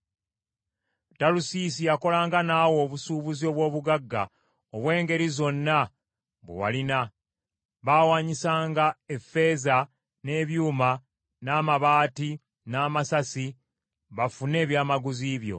“ ‘Talusiisi yakolanga naawe obusuubuzi obw’obugagga obw’engeri zonna bwe walina, baawanyisanga effeeza, n’ebyuma, n’amabaati n’amasasi bafune ebyamaguzi byo.